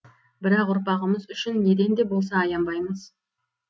бірақ ұрпағымыз үшін неден де болса аянбаймыз